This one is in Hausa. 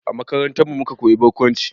A makarantarmu muka koyi barkwanci